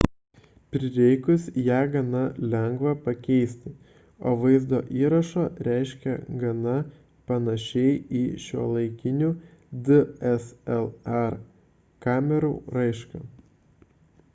prireikus ją gana lengva pakeisti o vaizdo įrašo raiška gana panaši į šiuolaikinių dslr kamerų raišką